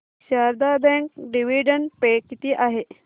Sharda bank dividend pay किती आहे